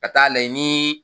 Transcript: Ka taa layɛ niin.